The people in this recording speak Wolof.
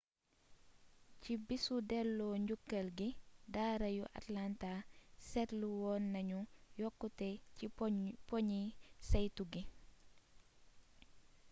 ci bisu delloo njukkal gi daara yu atlanta seetlu woon nañu yokkute ci poñi saytu gi